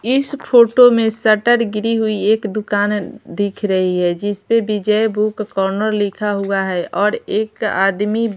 इस फोटो में सटर गिरी हुई एक दुकान अ दिख रही है जिस पे विजय बुक कॉर्नर लिखा हुआ है और एक आदमी--